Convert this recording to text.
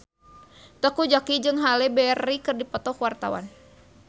Teuku Zacky jeung Halle Berry keur dipoto ku wartawan